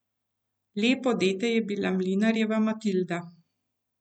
Lepo dete je bila mlinarjeva Matilda.